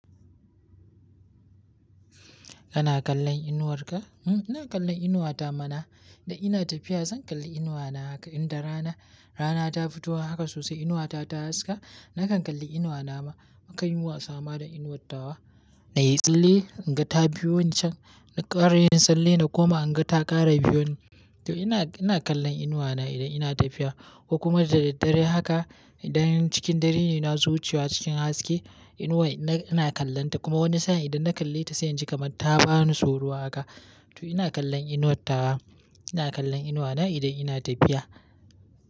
Kana kallon inuwarka? Mm ina kallon inuwata mana. Da ina tafiya zan kalli inuwana haka. Inda rana, rana ta fito haka sosai inuwata ta haska, nakan kalli inuwana ma. Nakan yi wasama da inuwar tawa. Na yi tsalle, in ga ta biyoni can. Na ƙara yin tsalle na koma in ga ta ƙara biyoni. To ina, ina kallon inuwana idan ina tafiya. Ko kuma da daddare haka, idan cikin dare ne nazo wucewa cikin haske, inuwar ina, ina kallonta. Kuma wani sa'in idan na kalle ta sai inji kaman ta bani tsoro haka. To ina kallon inuwar tawa. Ina kallon inuwana idan ina tafiya.